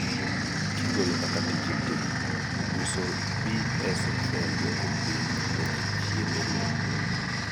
kigolo kaka tije tin, uso BSFL duoko piny bech chiemb lee